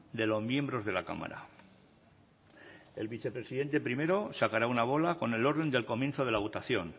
de los miembros de la cámara el vicepresidente primero sacará una bola con el orden del comienzo de la votación